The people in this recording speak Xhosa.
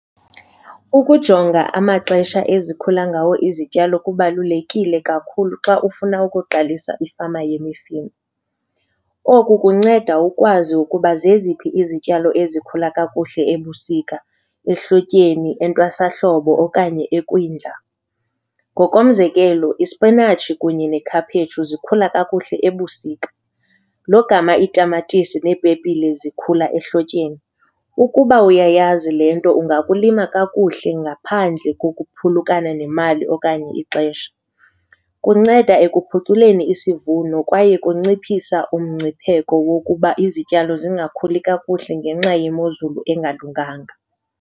Ukujonga amaxesha ezikhula ngawo izityalo kubalulekile kakhulu xa ufuna ukuqalisa ifama yemifino. Oku kunceda ukwazi ukuba zeziphi izityalo ezikhula kakuhle ebusika, ehlotyeni, entwasahlobo okanye ekwindla. Ngokomzekelo ispinatshi kunye nekhaphetshu zikhula kakuhle ebusika, logama itamatisi nepepile zikhula ehlotyeni, ukuba uyayazi le nto ungakulima kakuhle ngaphandle kokuphulukana nemali okanye ixesha. Kunceda ekuphuculeni isivuno kwaye kunciphisa umngcipheko wokuba izityalo zingakhuli kakuhle ngenxa yemozulu engalunganga.